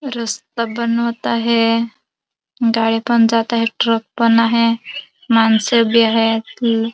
रस्ता बनवत आहे गाड्या पण जात आहे ट्रक पण आहे माणस बी आहेत.